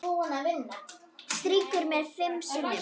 Strýkur mér fimm sinnum.